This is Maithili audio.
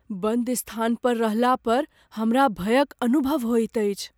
बन्द स्थान पर रहला पर हमरा भयक अनुभव होइत अछि।